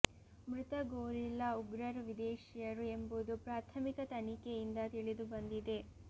ಮೃತ ಗೋರಿಲ್ಲ ಉಗ್ರರು ವಿದೇಶಿಯರು ಎಂಬುದು ಪ್ರಾಥಮಿಕ ತನಿಖೆಯಿಂದ ತಿಳಿದು ಬಂದಿದೆ